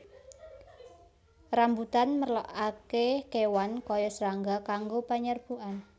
Rambutan merlokaké kéwan kaya srangga kanggo penyerbukan